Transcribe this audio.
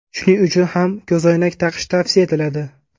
Shuning uchun ham ko‘zoynak taqish tavsiya etiladi.